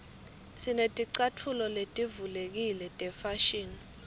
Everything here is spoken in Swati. sineticatfulo letivulekile tefashini